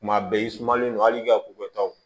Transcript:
Tuma bɛɛ i sumanlen don hali i ka ko kɛ taw